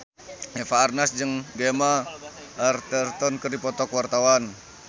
Eva Arnaz jeung Gemma Arterton keur dipoto ku wartawan